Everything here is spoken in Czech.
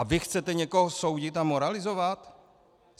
A vy chcete někoho soudit a moralizovat?